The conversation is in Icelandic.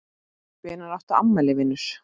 Hvenær áttu afmæli vinur?